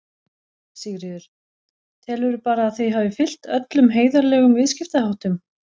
Sigríður: Telurðu bara að þið hafið fylgt öllum heiðarlegum viðskiptaháttum?